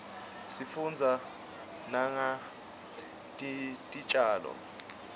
sifundza nangetitjalo